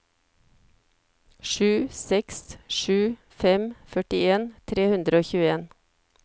sju seks sju fem førtien tre hundre og tjueen